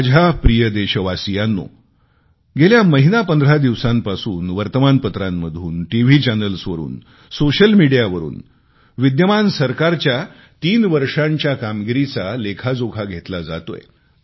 माझ्या प्रिय देशवासियांनो गेल्या महीनापंधरा दिवसांपासून वर्तमानपत्रांतून टीव्ही चॅनल्सवरून सोशल मीडियावरून विद्यमान सरकारच्या 3 वर्षांचा कामगिरीचा लेखाजोखा घेतला जातोय